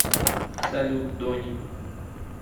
салют донни